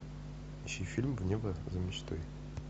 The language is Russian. включи фильм в небо за мечтой